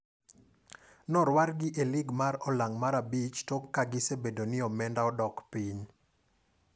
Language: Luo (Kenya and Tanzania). Norwargi piny e lig mar ong'ala mar abich tok ka gisebedo ni omenda odok piny.